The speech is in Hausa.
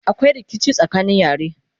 akwai rikici tsakanin yare